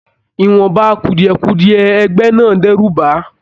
Ìwọnba kudiẹ-kudiẹ ẹgbẹ náà d'ẹru bá a.